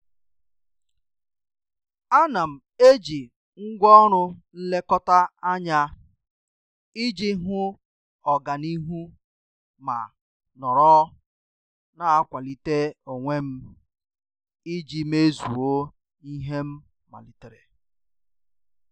A na m eji ngwaọrụ nlekọta anya iji hụ ọganihu ma nọrọ na-akwalite onwe m iji mezue ihe m malitere.